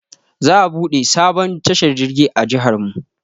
Za a buɗe sabon tashar jirgi a jiharmu.